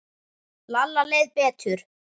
Lalla leið betur.